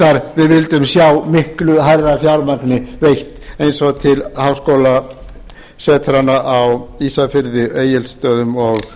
þó við vildum reyndar sjá miklu hærra fjármagni veitt eins og til háskólasetranna á ísafirði egilsstöðum og